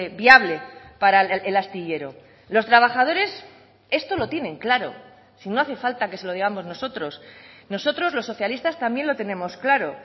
viable para el astillero los trabajadores esto lo tienen claro si no hace falta que se lo digamos nosotros nosotros los socialistas también lo tenemos claro